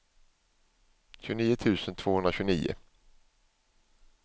tjugonio tusen tvåhundratjugonio